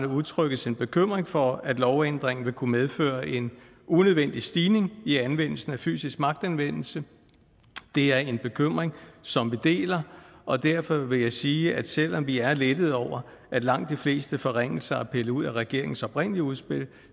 udtrykkes en bekymring for at lovændringen vil kunne medføre en unødvendig stigning i anvendelsen af fysisk magtanvendelse det er en bekymring som vi deler og derfor vil jeg sige at selv om vi er lettede over at langt de fleste forringelser er pillet ud af regeringens oprindelige udspil